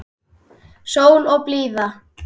Sól og blíða.